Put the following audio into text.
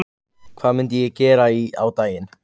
Hvað myndi ég gera á daginn?